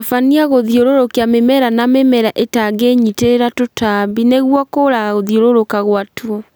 Tabania gũthiũrũrũkia mĩmera na mĩmera ĩtangĩnyitĩrĩra tũtambi nĩguo kũraga gũthiũrũrũka gwa tuo